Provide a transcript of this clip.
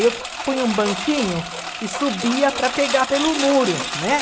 E eu punha um banquinho e subia para pegar pelo muro, né?